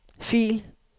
fil